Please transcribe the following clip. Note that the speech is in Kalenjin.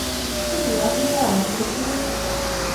Ui kasit tab barnotyot